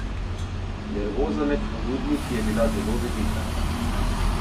Nervoza med ponudniki je bila zelo velika.